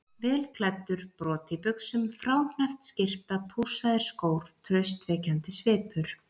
Vel klæddur, brot í buxum, fráhneppt skyrta, pússaðir skór, traustvekjandi svipur.